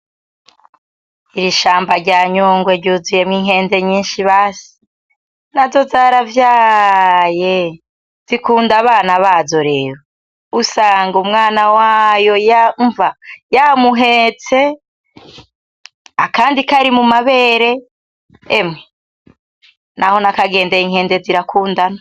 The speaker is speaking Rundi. Ishamba rya nyungwe ry'uzuyemwo inkende nyinshi basi, nazo zaravyaaye zikunda abana bazo rero usanga umwana wayo umva yamuhetse akandi kari mu mabere emwe naho nakagendeye inkende zirakundana.